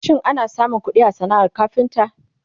shin ana samun ƙuɗi a sanaar kafinta?